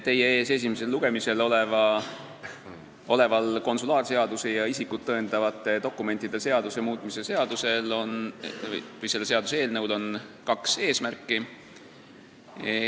Teie ees esimesel lugemisel oleva konsulaarseaduse ja isikut tõendavate dokumentide seaduse muutmise seaduse eelnõul on kaks eesmärki.